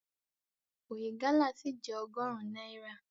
Oye gálà ṣì jẹ́ ọgọrun náírà.